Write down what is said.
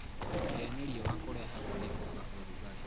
Kũhĩa nĩ riũa - kũrehagwo nĩ kwaga ũrugarĩ